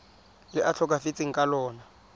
le a tlhokafetseng ka lona